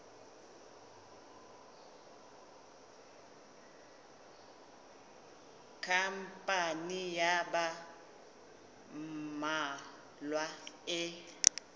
khampani ya ba mmalwa e